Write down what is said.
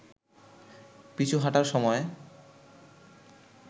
পিছু হটার সময়ে